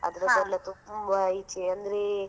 ಅದ್ರದೆಲ್ಲ ತುಂಬಾ ಈಚೆ, ಅಂದ್ರೆ.